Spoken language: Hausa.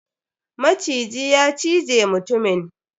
Maciji ya cije mutumin.